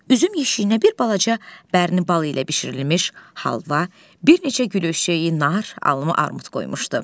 Üzüm yeşiyinə bir balaca bərni boyu ilə bişirilmiş halva, bir neçə gülöyşəyi, nar, alma, armud qoymuşdu.